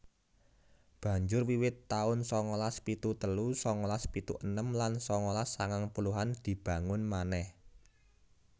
Banjur wiwit taun sangalas pitu telu sangalas pitu enem lan sangalas sangang puluhan dibangun manèh